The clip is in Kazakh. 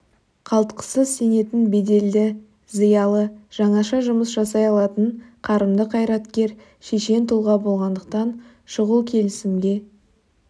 қалтқысыз сенетін беделді зиялы жаңаша жұмыс жасай алатын қарымды қайраткер шешен тұлға болғандықтан шұғыл келісімге